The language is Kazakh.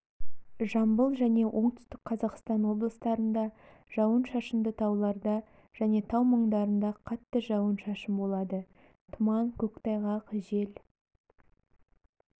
жамбыл және оңтүстік қазақстан облыстарында жауын-шашынды тауларда және тау маңдарында қатты жауын-шашын болады тұман көктайғақ жел